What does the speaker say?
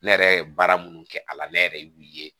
Ne yɛrɛ ye baara minnu kɛ a la ne yɛrɛ y'u ye